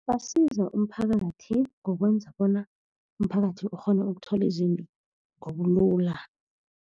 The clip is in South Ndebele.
Basiza umphakathi ngokwenza bona umphakathi ukghone ukuthola izinto ngobulula.